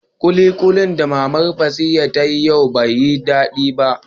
Kulikulin da mama Basira ta yi yau ba yi da ko dadi.